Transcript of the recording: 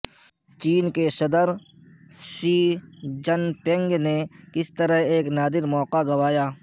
چین کے صدر Xi Jinping نے کس طرح ایک نادر موقع گنوایا